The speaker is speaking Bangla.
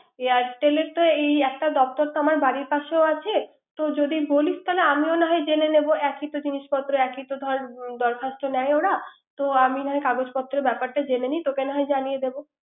airtel এর তো একটা দপ্তর আমার বাড়ির পাশেই আছে। তো যদি বলিশ আমিও না হয় যেনে নিব। একই তো জিনিসপত্র এইকই ধর তো দরখস্ত্র নেয় তো আমি না হয় কাগজ পত্র ব্যাপারটা জেনে নি তোকে না হয় জনিয়ে নিব